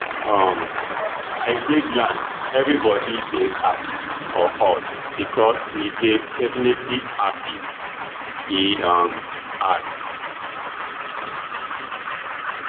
um i dey glad evribody dey happy for us becos we dey definitely happy e um add